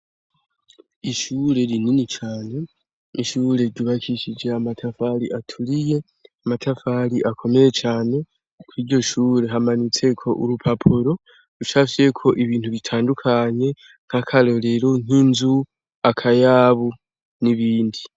Ishure rinini cane, ishure ryubakishije amatafari aturiye, amatafari akomeye cane kw' iryo shure hamanitse ko urupapuro rushafye ko ibintu bitandukanye ,nk'akarorero ,nk'inzu akayabu, n'ibindi.